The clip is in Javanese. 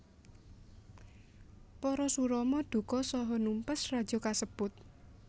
Parasurama duka saha numpes raja kasebut